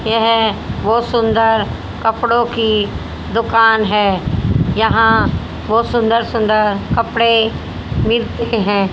यह बहुत सुंदर कपड़ों की दुकान है यहां बहुत सुंदर सुंदर कपड़े मिलते हैं।